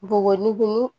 Bogobini